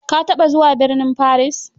Ka taɓa zuwa burnin Paris?